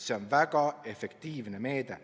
See on väga efektiivne meede.